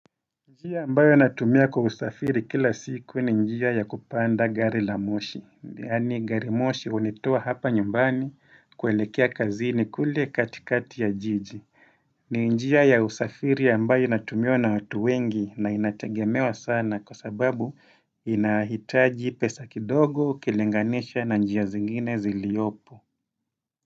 Njia ambayo natumia kwa usafiri kila siku ni njia ya kupanda gari la moshi. Yani gari moshi hunitoa hapa nyumbani kuelekea kazini kule katikati ya jiji. Ni njia ya usafiri ambayo inatumiwa na watu wengi na inategemewa sana kwa sababu inahitaji pesa kidogo, ukilinganisha na njia zingine ziliopo.